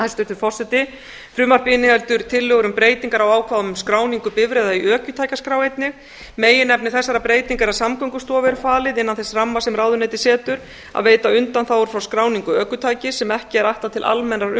hæstvirtur forseti frumvarpið inniheldur tillögur um breytingar á ákvæðum um skráningu bifreiða í ökutækjaskrá einnig meginefni þessara breytinga er að samgöngustofu er falið innan þess ramma sem ráðuneytið setur að veita undanþágur frá skráningu ökutækis sem ekki er ætlað til almennrar